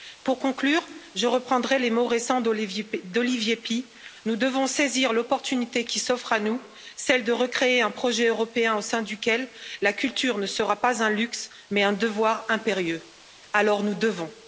Pour conclure, je reprendrai les mots récents d'Olivier Py nous devons saisir l'opportunité qui s'offre à nous, celle de recréer un projet européen au sein duquel la culture ne sera pas un luxe mais un devoir impérieux, alors nous devons.